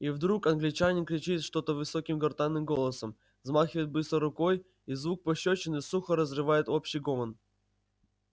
и вдруг англичанин кричит что-то высоким гортанным голосом взмахивает быстро рукой и звук пощёчины сухо разрывает общий гомон